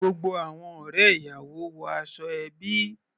Gbogbo àwọn ọ̀rẹ́ ìyàwó wọ aṣọ ẹbí.